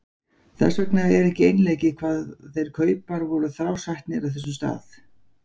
Þess vegna var ekki einleikið hvað þeir kaupar voru þrásætnir á þessum stað.